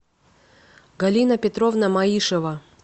галина петровна маишева